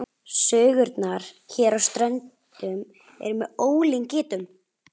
Sögurnar hér á Ströndum eru með ólíkindum.